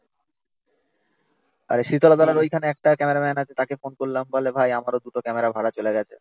আর শীতলতলার ওইখানে একটা ক্যামেরাম্যান আছে তাকে ফোন করলাম বলে ভাই আমারো দুটো ক্যামেরা ভাড়ায় চলে গেছে।